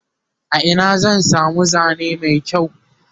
a Ina zan samu Zane Mai kyau?